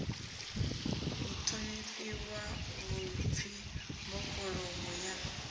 u ṱhonifhiwa vhuḓipfi mbofholowo ya